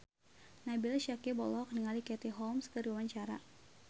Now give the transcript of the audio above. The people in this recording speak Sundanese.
Nabila Syakieb olohok ningali Katie Holmes keur diwawancara